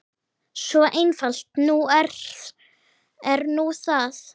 Svo einfalt er nú það.